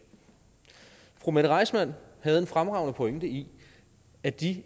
fru mette reissmann havde en fremragende pointe i at de